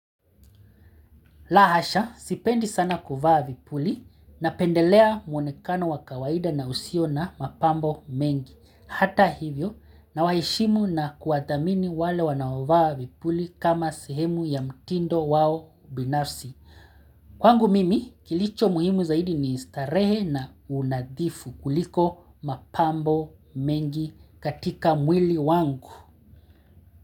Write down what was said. La hasha, sipendi sana kuvaa vipuli napendelea muonekano wa kawaida na usio na mapambo mengi. Hata hivyo, na waheshimu na kuwathamini wale wanaovaa vipuli kama sehemu ya mtindo wao binafsi. Kwangu mimi, kilicho muhimu zaidi ni starehe na unadhifu kuliko mapambo mengi katika mwili wangu.